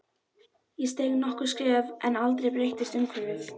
Ég steig nokkur skref en aldrei breyttist umhverfið.